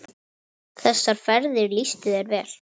Þessar ferðir lýstu þér vel.